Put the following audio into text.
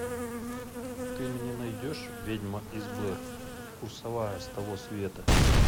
ты мне найдешь ведьма из блэр курсовая с того света